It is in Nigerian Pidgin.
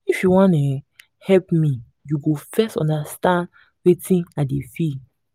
if you wan um help me you go first understand wetin i dey feel.